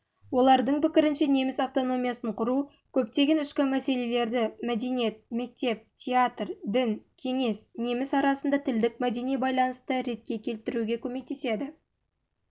олардың пікірінше неміс автономиясын құру көптеген ішкі мәселелерді мәдениет мектеп театр дін кеңес неміс арасында тілдік-мәдени байланысты ретке